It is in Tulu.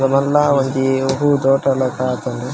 ಬೊಕ ಮಲ್ಲ ಒಂಜಿ ಹೂ ತೋಟಲಕ ಆತುಂಡು.